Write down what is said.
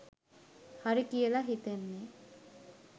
හරි කියල හිතෙන්නේ